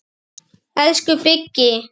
Elsku Biggi.